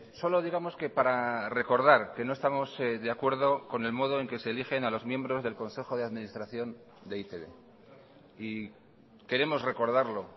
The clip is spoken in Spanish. solo digamos que para recordar que no estamos de acuerdo con el modo en que se eligen a los miembros del consejo de administración de e i te be y queremos recordarlo